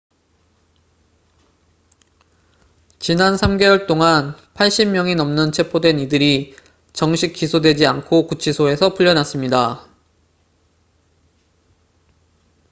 지난 3개월 동안 80명이 넘는 체포된 이들이 정식 기소되지 않고 구치소에서 풀려났습니다